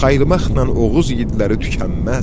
Saymaqla Oğuz yiğidləri tükənməz.